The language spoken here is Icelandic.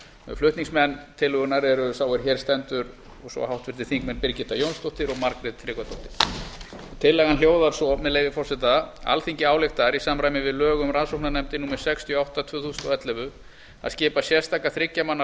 flutningsmenn tillögunnar eru sá er hér stendur og svo háttvirtir þingmenn birgitta jónsdóttir og margrét tryggvadóttir tillagan hljóðar svo með leyfi forseta alþingi ályktar í samræmi við lög um rannsóknarnefndir númer sextíu og átta tvö þúsund og ellefu að skipa sérstaka þriggja manna